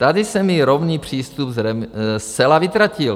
Tady se mi rovný přístup zcela vytratil.